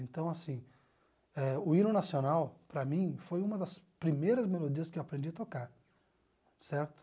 Então, assim ah, o hino nacional, para mim, foi uma das primeiras melodias que eu aprendi a tocar, certo?